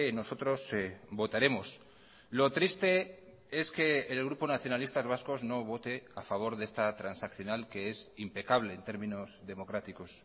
nosotros votaremos lo triste es que el grupo nacionalistas vascos no vote a favor de esta transaccional que es impecable en términos democráticos